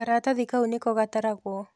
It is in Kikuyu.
Karatathi kau nĩko gataragũo.